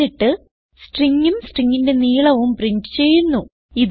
എന്നിട്ട് stringഉം stringന്റെ നീളവും പ്രിന്റ് ചെയ്യുന്നു